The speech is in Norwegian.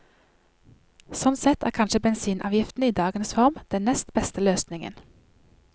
Sånn sett er kanskje bensinavgiften i dagens form den nest beste løsningen.